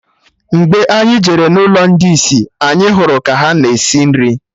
Mgbe anyị jere n'ụlọ ndị isi, anyị hụrụ ka ha na-esi nri